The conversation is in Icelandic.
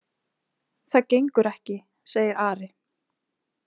Það gengur ekki, segir Ari.